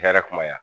Hɛrɛ kumaya